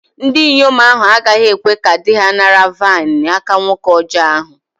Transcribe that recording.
Ndinyom ahu agaghi-ekwe ka di-ha nara mmanya-vaịn n'aka nwoke ọjọ ahu